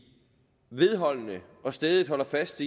vedholdende og stædigt holder fast